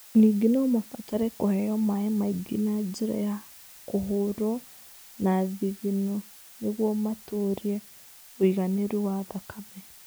Ningĩ no mabatare kũheo maĩ maingĩ na njĩra ya kũhũrũo na thithino nĩguo matũũrie ũigananĩru wa thakame.